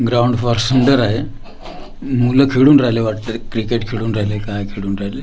ground फार सुंदर आहे मुलं खेळून राहिले वाटतंय क्रिकेट खेळून राहिले काय खेळून राहिले--